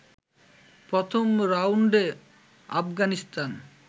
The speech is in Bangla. প্রথম রাউন্ডে আফগানিস্তান